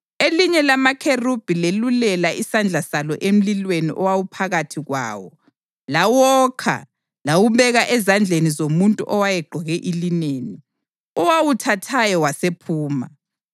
Elinye lamakherubhi lelulela isandla salo emlilweni owawuphakathi kwawo. Lawokha lawubeka ezandleni zomuntu owayegqoke ilineni, owawuthathayo wasephuma.